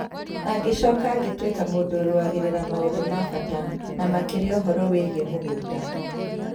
Agĩcoka agĩtuĩka mũndũ ũrũagĩrĩra maũndũ ma bata, na makĩria ũhoro wĩgiĩ mĩgunda.